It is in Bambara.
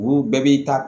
Olu bɛɛ b'i ta